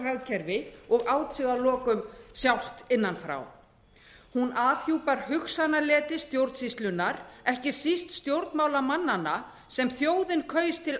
hagkerfi og át sig að lokum sjálft innan frá hún afhjúpar hugsanaleti stjórnsýslunnar ekki síst stjórnmálamannanna sem þjóðin kaus til